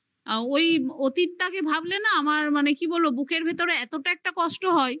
ওই অতীতটাকে ভাবলে না আমার মানে কি বলবো বুকের ভেতরে এতটা একটা কষ্ট হয়